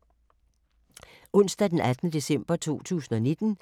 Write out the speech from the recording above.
Onsdag d. 18. december 2019